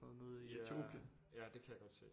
Ja ja det kan jeg godt se